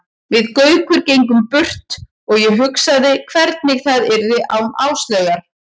Við Gaukur gengum burt og ég hugsaði hvernig það yrði án Áslaugar.